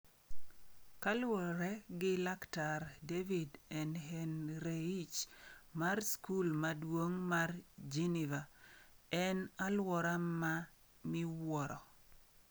Kaluwore gi Laktar David Ehrenreich mar skul maduong' mar Geneva, en alwora ma miwuoro.